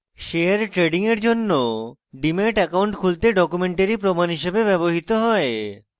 share trading এর জন্য demat account খুলতে documentary প্রমাণ হিসেবে ব্যবহৃত হয়